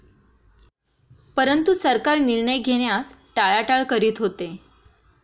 परंतु सरकार निर्णय घेण्यास टाळाटाळ करीत होते.